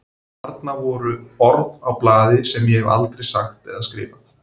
Þarna voru orð á blaði sem ég hef aldrei sagt eða skrifað.